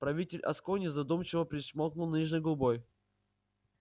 правитель аскони задумчиво причмокнул нижней губой